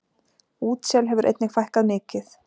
Útsel hefur einnig fækkað mikið.